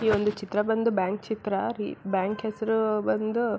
ಈ ಒಂದು ಚಿತ್ರ ಬಂದು ಬ್ಯಾಂಕ್ ಚಿತ್ರ ಬ್ಯಾಂಕ್ ಹೆಸರು ಬಂದು --